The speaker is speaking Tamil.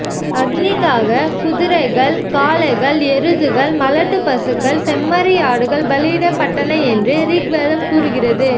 அக்னிக்காக குதிரைகள் காளைகள் எருதுகள் மலட்டுப்பசுக்கள் செம்மறியாடுகள் பலியிடப்பட்டன என்று ரிக்வேதம் கூறுகிறது